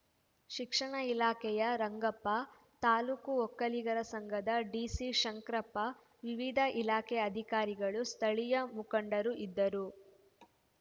ಶಿಕ್ಷಣ ಇಲಾಖೆಯ ರಂಗಪ್ಪ ತಾಲೂಕು ಒಕ್ಕಲಿಗರ ಸಂಘದ ಡಿಸಿಶಂಕ್ರಪ್ಪ ವಿವಿಧ ಇಲಾಖೆ ಅಧಿಕಾರಿಗಳು ಸ್ಥಳೀಯ ಮುಖಂಡರು ಇದ್ದರು